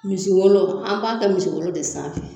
Misi wolo an b'a kɛ misi wolo de sanfɛ